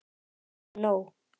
Ég hef nóg.